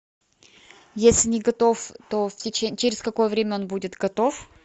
если не готов то через какое время он будет готов